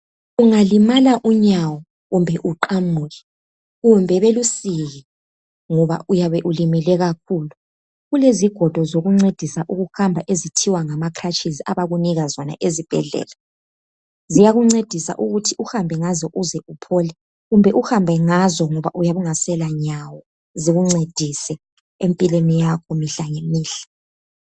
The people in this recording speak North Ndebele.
Ungalimala unyawo ,uqamuke kumbe luqunywe ngoba uyabe ulimele kakhulu. Kulezigodo zokuncedisa ukuhamba abakunika zona ezibhedlela. Ziyakuncedisa ukuhamba uze uphole kumbe uhambe ngazo ngoba uyabe ungasela nyawo zikuncedise imihla ngemihla.